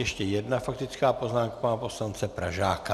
Ještě jedna faktická poznámka pana poslance Pražáka.